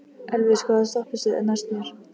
Elvis, hvaða stoppistöð er næst mér?